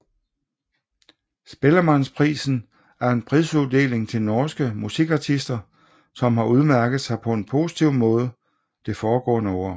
Spellemannprisen er en prisuddeling til norske musikartister som har udmærket sig på en positiv måde det foregående år